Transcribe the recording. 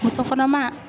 Muso kɔnɔma